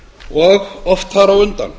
og oft þar á undan